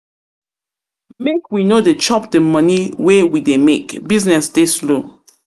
we no dey chop dey moni wey we dey make, business dey slow.